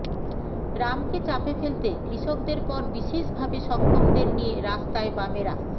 রামকে চাপে ফেলতে কৃষকদের পর বিশেষভাবে সক্ষমদের নিয়ে রাস্তায় বামেরা